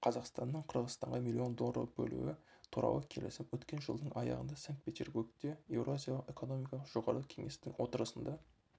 қазақстанның қырғызстанға млн доллар бөлуі туралы келісім өткен жылдың аяғында санкт-петербургте еуразиялық экономикалық жоғарғы кеңестің отырысында